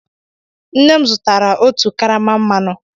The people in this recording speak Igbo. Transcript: Nne m zụtara otu karama mmanụ.